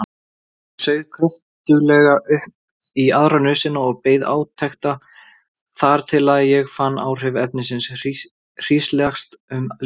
Ég saug kröftuglega upp í aðra nösina og beið átekta þar til ég fann áhrif efnisins hríslast um líkama minn.